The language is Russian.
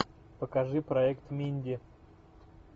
покажи проект минди